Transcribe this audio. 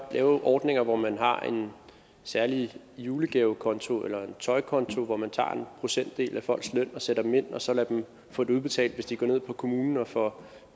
lave ordninger hvor man har en særlig julegavekonto eller tøjkonto hvor man tager en procentdel af folks løn og sætter dem ind og så lader dem få det udbetalt hvis de går ned på kommunen og får